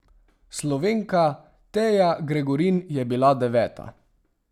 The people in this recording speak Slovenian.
Slovenka Teja Gregorin je bila deveta.